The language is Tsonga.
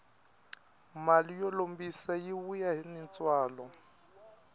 mali yo lombisa yi vuya ni ntswalo